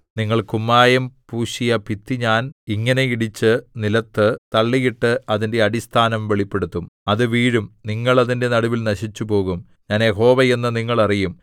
നിങ്ങൾ കുമ്മായം പൂശിയ ഭിത്തി ഞാൻ ഇങ്ങനെ ഇടിച്ച് നിലത്തു തള്ളിയിട്ട് അതിന്റെ അടിസ്ഥാനം വെളിപ്പെടുത്തും അത് വീഴും നിങ്ങൾ അതിന്റെ നടുവിൽ നശിച്ചുപോകും ഞാൻ യഹോവ എന്ന് നിങ്ങൾ അറിയും